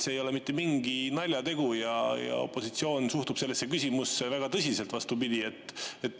See ei ole mitte mingi naljategu ja opositsioon suhtub sellesse küsimusse väga tõsiselt.